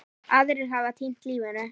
Aðrir hafa týnt lífinu.